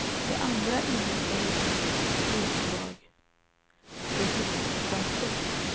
De andra innehöll utdrag från olika konton.